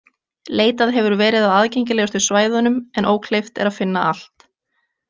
Leitað hefur verið á aðgengilegustu svæðunum en ókleift er að finna allt.